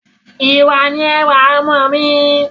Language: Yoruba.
Ìwà ni ẹwà ọmọ mí